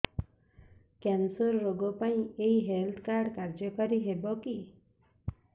cancer ରୋଗ ପାଇଁ ଏଇ ହେଲ୍ଥ କାର୍ଡ କାର୍ଯ୍ୟକାରି ହେବ କି